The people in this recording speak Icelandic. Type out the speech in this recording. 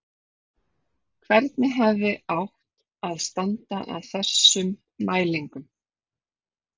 Hvernig hefði átt að standa að þessum mælingum?